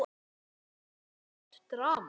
Er það ekki flott drama?